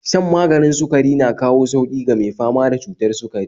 Shan maganin sukari na kawo sauƙi ga mai fama da cutar sukari